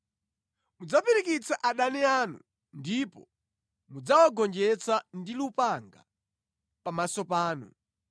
Mudzapirikitsa adani anu, ndipo mudzawagonjetsa ndi lupanga pamaso panu.